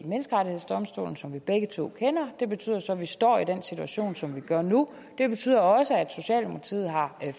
menneskerettighedsdomstolen som vi begge to kender det betyder så at vi står i den situation som vi gør nu det betyder også at socialdemokratiet har